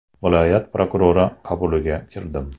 Viloyat prokurori qabuliga kirdim.